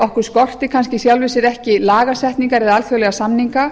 okkur skorti kannski í sjálfu sér ekki lagasetningar eða alþjóðlega samninga